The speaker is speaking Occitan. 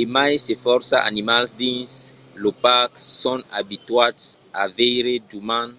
e mai se fòrça animals dins lo parc son abituats a veire d’umans